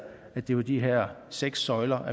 at det var de her seks søjler